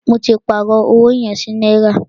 Mó tí pàárọ̀ ọwọ yẹn sí náírà.